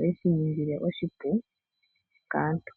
oyeshi ningile oshipu kaantu.